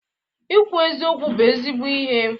Ikwu eziokwu bụ ezigbo ihe.